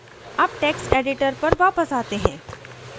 अब text editor पर वापस आते हैं